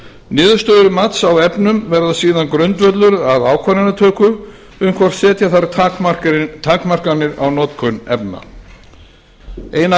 niðurstöður mats á efnum verða síðan grundvöllur að ákvarðanatöku um hvort setja þarf takmarkanir á notkun efna ein af